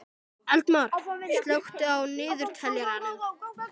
Eldmar, slökktu á niðurteljaranum.